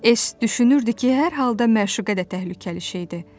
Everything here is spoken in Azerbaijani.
E-s düşünürdü ki, hər halda məşuqə də təhlükəli şeydir.